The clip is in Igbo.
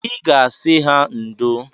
I ga-asị ha ndo